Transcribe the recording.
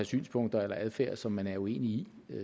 synspunkter eller adfærd som man er uenig i